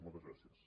moltes gràcies